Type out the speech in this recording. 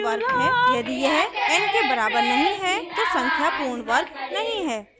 यदि यह n के बराबर नहीं है तो संख्या पूर्ण वर्ग नहीं है